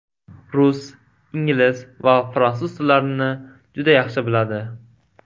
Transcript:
Rus, ingliz va fransuz tillarini juda yaxshi biladi.